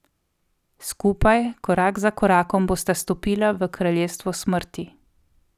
Skupaj, korak za korakom bosta stopila v kraljestvo smrti.